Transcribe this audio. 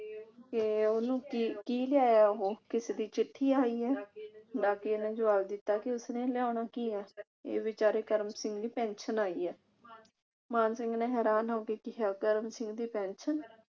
ਕਿ ਉਹਨੂੰ ਕੀ ਕੀ ਲਿਆਇਆ ਉਹ ਕਿਸਦੀ ਚਿੱਠੀ ਆਈ ਐ। ਡਾਕੀਏ ਨੇ ਜਵਾਬ ਦਿੱਤਾ ਕਿ ਉਸਨੇ ਲਿਆਉਣਾ ਕੀ ਐ ਇਹ ਵਿਚਾਰੇ ਕਰਮ ਸਿੰਘ ਦੀ ਪੈਨਸ਼ਨ ਆਈ ਐ। ਮਾਨ ਸਿੰਘ ਨੇ ਹੈਰਾਨ ਹੋ ਕੇ ਕਿਹਾ ਕਰਮ ਸਿੰਘ ਦੀ ਪੈਨਸ਼ਨ